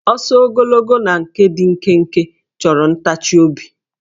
Ọsọ ogologo na nke dị nkenke chọrọ ntachiobi